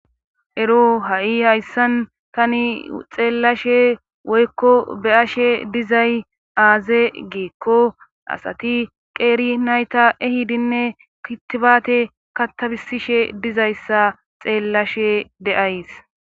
ero ha7i hayssan tani xeellashe woykko beyashe dizay aaze geekko asati qeeri nayta ehidinne kitifaate kattabisishe dizayssa xeellashe deays